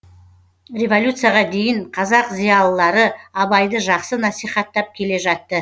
революцияға дейін қазақ зиялылары абайды жақсы насихаттап келе жатты